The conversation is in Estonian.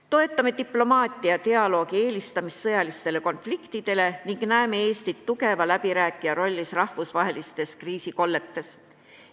Toetame diplomaatilise dialoogi eelistamist sõjalistele konfliktidele ning näeme Eestit tugeva läbirääkija rollis rahvusvahelistes kriisikolletes.